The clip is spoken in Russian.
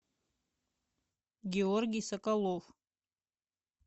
георгий соколов